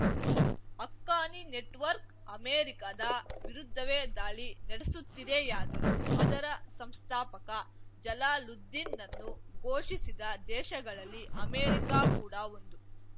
Haqqani network ಅಮೆರಿಕದ ವಿರುದ್ಧವೇ ದಾಳಿ ನಡೆಸುತ್ತಿದೆಯಾದರೂ ಅದರ ಸಂಸ್ಥಾಪಕ ಜಲಾಲುದ್ದಿನ್‌ನನ್ನು ಪೋಷಿಸಿದ ದೇಶಗಳಲ್ಲಿ ಅಮೆರಿಕ ಕೂಡ ಒಂದು